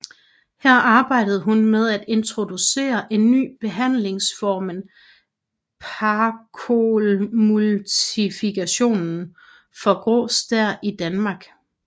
Her arbejdede hun med at introducere en ny behandlingsformen phacoemulsification for grå stær i Danmark